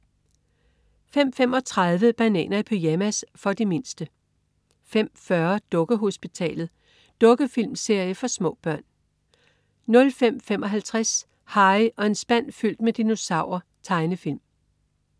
05.35 Bananer i pyjamas. For de mindste 05.40 Dukkehospitalet. Dukkefilmserie for små børn 05.55 Harry og en spand fyldt med dinosaurer. Tegnefilm